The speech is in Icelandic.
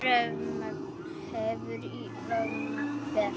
Rafmagn kemur og rafmagn fer.